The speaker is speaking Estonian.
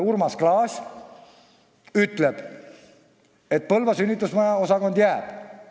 Urmas Klaas ütleb, et Põlva sünnitusmaja jääb.